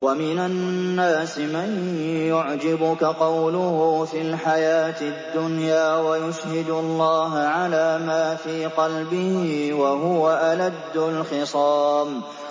وَمِنَ النَّاسِ مَن يُعْجِبُكَ قَوْلُهُ فِي الْحَيَاةِ الدُّنْيَا وَيُشْهِدُ اللَّهَ عَلَىٰ مَا فِي قَلْبِهِ وَهُوَ أَلَدُّ الْخِصَامِ